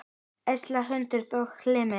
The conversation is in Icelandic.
Elsa Hrund og Hilmir.